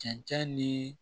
Cɛncɛn ni